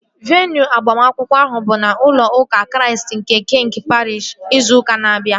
Veenụ agbamakwụkwọ ahụ bụ n'ụlọ ụka Chraist nke Kiing Pariish, ịzụ ụka na-abia